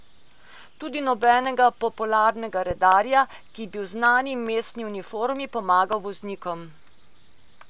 Tudi nobenega popularnega redarja, ki bi v znani mestni uniformi pomagal voznikom.